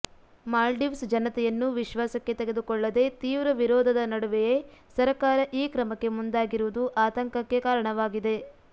ಮಾಲ್ಡೀವ್ಸ್ ಜನತೆಯನ್ನು ವಿಶ್ವಾಸಕ್ಕೆ ತೆಗೆದುಕೊಳ್ಳದೆ ತೀವ್ರ ವಿರೋಧದ ನಡುವೆಯೇ ಸರಕಾರ ಈ ಕ್ರಮಕ್ಕೆ ಮುಂದಾಗಿರುವುದು ಆತಂಕಕ್ಕೆ ಕಾರಣವಾಗಿದೆ